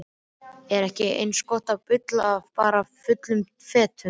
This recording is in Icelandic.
Er ekki eins gott að bulla bara fullum fetum?